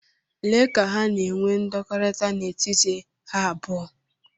Lee ka ha na-enwe ndọkọrita n'etiti ha abụọ.